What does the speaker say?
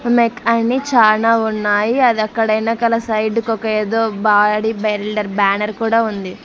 చానా ఉన్నాయి అదక్కడ వెనకల సైడు కొక ఏదో బాడి బిల్డర్ బ్యానర్ కూడా ఉంది.